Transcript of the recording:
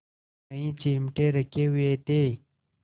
कई चिमटे रखे हुए थे